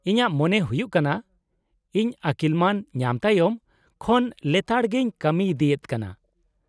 -ᱤᱧᱟᱹᱜ ᱢᱚᱱᱮ ᱦᱩᱭᱩᱜ ᱠᱟᱱᱟ ᱤᱧ ᱟᱹᱠᱤᱞ ᱢᱟᱹᱱ ᱧᱟᱢ ᱛᱟᱭᱚᱢ ᱠᱷᱚᱱ ᱞᱮᱛᱟᱲᱜᱮᱧ ᱠᱟᱹᱢᱤ ᱤᱫᱤᱭᱮᱫ ᱠᱟᱱᱟ ᱾